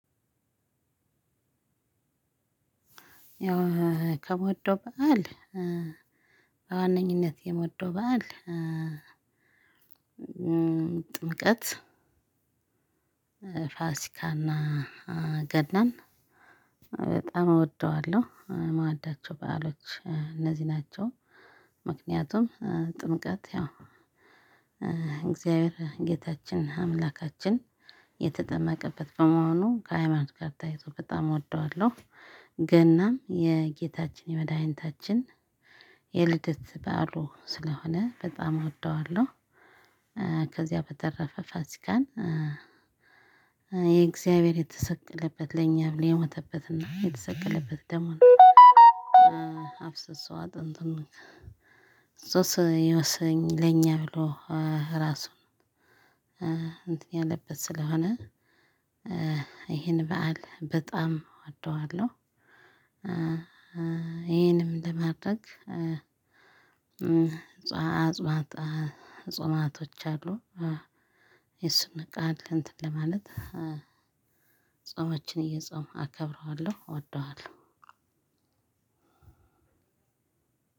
ያው ከምወደው በዓል በዋነኝነት የምወደው በዓል ጥምቀት ፋሲካና ገናን በጣም እወደዋለሁ ምወዳቸው በዓሎች እነዚህ ናቸው። ምክንያቱም ጥምቀት ያው እግዚአብሔር ጌታችን አምላካችን የተጠመቀበት በመሆኑ ከሃይማኖት ጋር ተያይዞ በጣም እወደዋለሁ። ገናም የጌታችን የመድኃኒታችን የልደት በዓሉ ስለሆነ በጣም እወደዋለሁ። ከዚያ በተረፈ ፋሲካን። የእግዚአብሔር የተሰቀለበት ለኛ ብሎ የሞተበትና የተሰቀለበት ደሙን አፍስሶሰ አጥንትን ለኛ ብሎ ራሱን እንትን ያለበት ስለሆነ ይሄን በዓል በጣም እወደዋለሁ። ይሄንም ለማድረግ ጾማቶች አሉ። የሱን ቃል እንትን ለማለት ጾመችን እየጾምኩ አከብረዋለሁ እወደዋለሁ።